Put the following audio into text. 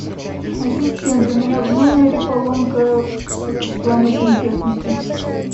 ассистент у меня в номере поломка в плане сантехники